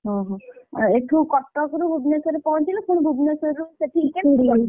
ଓହୋ ଏଠୁ କଟକରୁ ଭୁବନେଶ୍ୱର ପହଞ୍ଚିଲୁ ପୁଣି ଭୁବନେଶ୍ୱରରୁ ସେଠି,